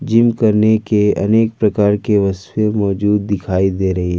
Gym करने की अनेक प्रकार के वस्तुएं मौजूद दिखाई दे रही हैं।